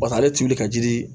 Pasa ale tulu de ka di